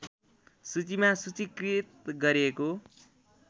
सूचीमा सूचीकृत गरेको